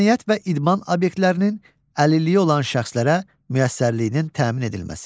Mədəniyyət və idman obyektlərinin əlilliyi olan şəxslərə müəssərliyinin təmin edilməsi.